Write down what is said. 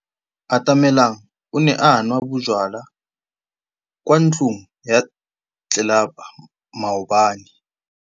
Atamelang o ne a nwa bojwala kwa ntlong ya tlelapa maobane.